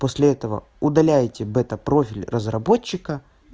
после этого удаляйте бета профиль разработчика